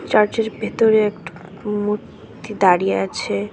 Church -এর ভেতরে একট্ মূর তি দাঁড়িয়ে আছে।